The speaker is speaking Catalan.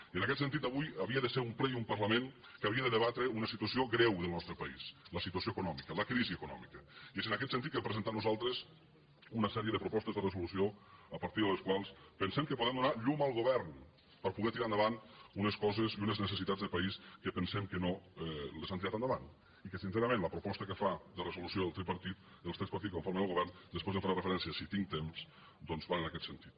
i en aquest sentit avui havia de ser un ple i un parlament que havia de debatre una situació greu del nostre país la situació econòmica la crisi econòmica i és en aquest sentit que hem presentat nosaltres una sèrie de propostes de resolució a partir de les quals pensem que podem donar llum al govern per poder tirar endavant unes coses i unes necessitats de país que pensem que no les han tirat endavant i que sincerament la proposta que fa de resolució el tripartit els tres partits que conformen el govern després ja hi faré referència si tinc temps doncs va en aquest sentit